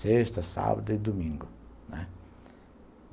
Sexta, sábado e domingo, né.